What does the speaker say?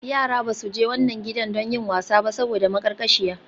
Yara ba su je wannan gidan don yin wasa ba saboda maƙarƙashiya.